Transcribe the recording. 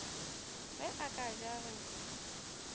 ge a ka ja re